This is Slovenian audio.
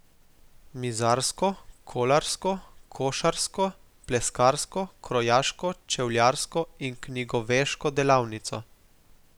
Mizarsko, kolarsko, košarsko, pleskarsko, krojaško, čevljarsko in knjigoveško delavnico.